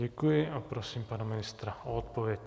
Děkuji a prosím pana ministra o odpověď.